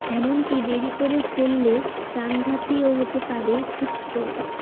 এমনকী দেরি করে ফেললে প্রাণঘাতীও হতে পারে হিট স্ট্রোক